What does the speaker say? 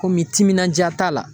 timinanja t'a la.